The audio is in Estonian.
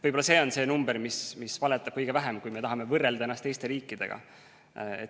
Võib-olla see on see number, mis valetab kõige vähem, kui me tahame võrrelda ennast teiste riikidega.